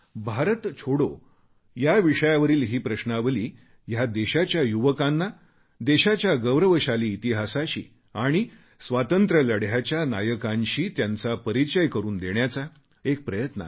भारत छोडो विषयावरील ही प्रश्नावली हा देशाच्या युवकांना देशाच्या गौरवशाली इतिहासाशी आणि स्वातंत्र्यलढ्याच्या नायकांशी त्यांचा परिचय करून देण्याचा एक प्रयत्न आहे